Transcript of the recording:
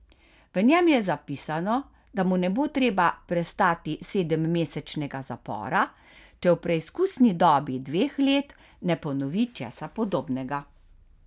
V njem je zapisano, da mu ne bo treba prestati sedemmesečnega zapora, če v preizkusni dobi dveh let ne ponovi česa podobnega.